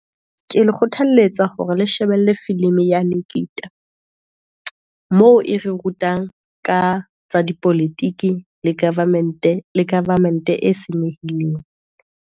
Ke le kgothalletsa hore le shebelle film-i ya nikita, moo e re rutang ka tsa dipolotiki, le government e senyehileng.